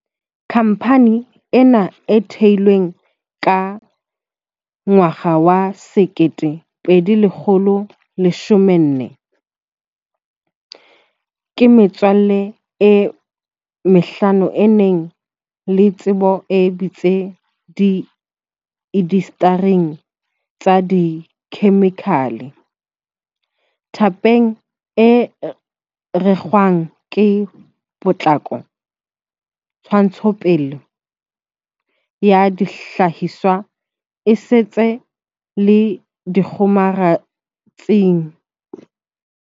Khamphane ena e theilwe ka 2014 ke metswalle e mehlano e nang le tsebo e batsi di indastering tsa dikhemikhale, thepeng e rekwang ka potlako, ntshetsopeleng ya dihlahiswa esita le dikgomaretsing.